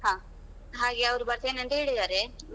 ಹಾಗೆ ಅವರು ಬರ್ತೇನೆಂತ ಹೇಳಿದಾರೆ.